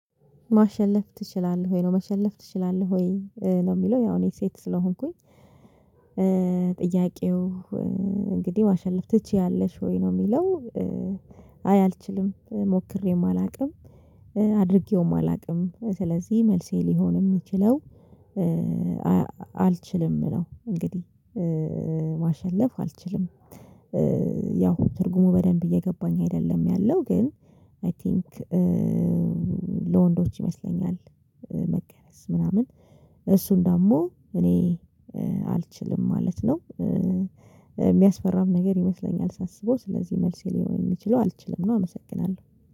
ማሸነፍ ትችላለህ? ወይ ነው መሸነፍ ትችላለህ ወይ ነው? የሚለው ያው እኔ ሴት ስለሆንኩኝ። ጥያቄው እንግዲህ ማሸነፍ ትችያለሽ ወይ ነው የሚለው? አይ አልችልም ሞክሬም አላውቅም። አድርጌውም አላውቅም ስለዚህ መልሴ ሊሆን የሚችለው አልችልም ነው። እንግዲህ ማሸነፍ አልችልም። ያው ትርጉሙ በደንብ እየገባኝ አይደለም ያለው። ግን አይ ቲንክ ለወንዶች ይመስለኛል መገረዝ ምናምን እሱን ደግሞ እኔ አልችልም ማለት ነው። የሚያስፈራም ነገር ይመስለኛል ሳስበው ስለዚህ መልሴ ሊሆን የሚችለው አልችልም ነው። አመሰግናለሁ